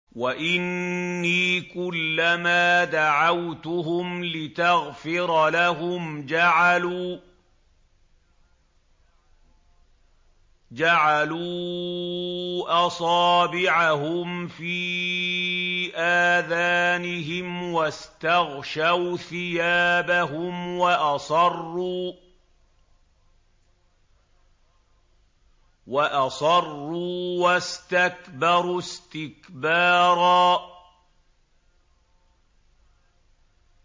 وَإِنِّي كُلَّمَا دَعَوْتُهُمْ لِتَغْفِرَ لَهُمْ جَعَلُوا أَصَابِعَهُمْ فِي آذَانِهِمْ وَاسْتَغْشَوْا ثِيَابَهُمْ وَأَصَرُّوا وَاسْتَكْبَرُوا اسْتِكْبَارًا